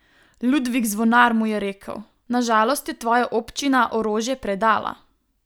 Ludvik Zvonar mu je rekel: "Na žalost je tvoja občina orožje predala.